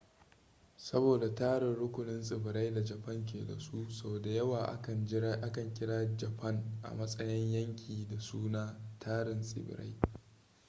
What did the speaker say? saboda tari/rukunin tsibirai da japan ke da su sau da yawa akan kira japan a matsayin yanki da suna tarin tsibirai